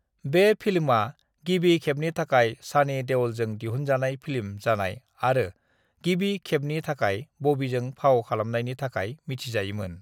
बे फिल्मआ गिबि खेबनि थाखाय सनी देओलजों दिहनजानाय फिल्म जानाय आरो गिबि खेबनि थाखाय बबीजों फाव खालामनायनि थाखाय मिथिजायोमोन।